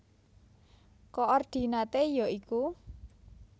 Koordinaté ya iku